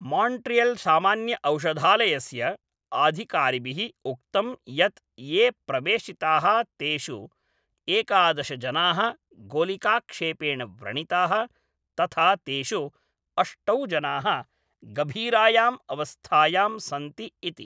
माण्ट्रियल्सामान्यऔषधालयस्य अधिकारिभिः उक्तं यत् ये प्रवेशिताः तेषु एकादश जनाः गोलिकाक्षेपेण व्रणिताः, तथा तेषु अष्टौ जनाः गभीरायां अवस्थायां सन्ति इति।